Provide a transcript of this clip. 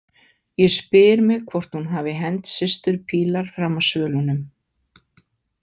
Ég spyr mig hvort hún hafi hent systur Pilar fram af svölunum.